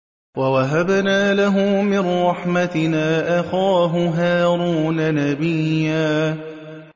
وَوَهَبْنَا لَهُ مِن رَّحْمَتِنَا أَخَاهُ هَارُونَ نَبِيًّا